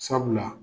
Sabula